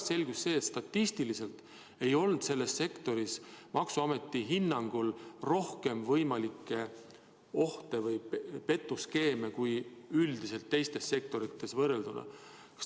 Ja pärast selgus, et statistiliselt ei olnud selles sektoris maksuameti hinnangul rohkem võimalikke ohte või petuskeeme kui üldiselt teistes sektorites.